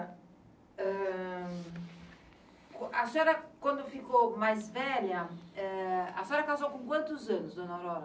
Ah, A senhora, quando ficou mais velha, a senhora casou com quantos anos, dona Aurora?